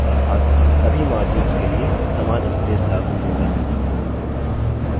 अर्थात सभी margins के लिए समान स्पेस लागू होता है